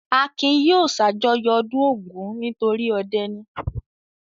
Akin yóò ṣàjọyọ̀ ọdún Ògún nitori ọdẹ ni.